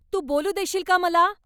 तू बोलू देशील का मला?